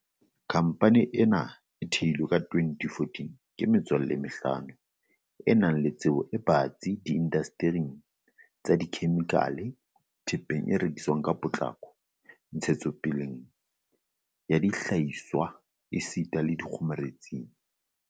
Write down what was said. Khamphane ena e theilwe ka 2014 ke metswalle e mehlano e nang le tsebo e batsi di indastering tsa dikhemikhale, thepeng e rekwang ka potlako, ntshetsopeleng ya dihlahiswa esita le dikgomaretsing.